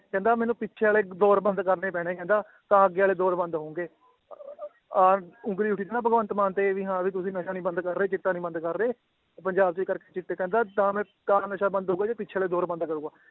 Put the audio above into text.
ਕਹਿੰਦੇ ਮੈਨੂੰ ਪਿੱਛੇ ਵਾਲੇ ਦੌਰ ਬੰਦ ਕਰਨੇ ਪੈਣੇ ਕਹਿੰਦਾ, ਤਾਂ ਅੱਗੇ ਵਾਲੇ ਦੌਰ ਬੰਦ ਹੋਣਗੇ ਆਹ ਉਂਗਲੀ ਉੱਠੀ ਸੀ ਨਾ ਭਗਵੰਤ ਮਾਨ ਤੇ ਵੀ ਹਾਂ ਵੀ ਤੁਸੀਂ ਨਸ਼ਾ ਨੀ ਬੰਦ ਕਰ ਰਹੇ, ਚਿੱਟਾ ਨੀ ਬੰਦ ਕਰ ਰਹੇ, ਤੇ ਪੰਜਾਬ ਦੇ ਕਰਕੇ ਚਿੱਟੇ ਕਹਿੰਦਾ ਤਾਂ ਨ~ ਤਾਂ ਨਸ਼ਾ ਬੰਦ ਹੋਊਗਾ ਜੇ ਪਿੱਛੇ ਵਾਲੇ ਦੌਰ ਬੰਦ ਕਰੇਗਾ।